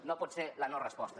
no pot ser la no resposta